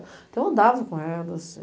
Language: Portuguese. Então, andava com elas.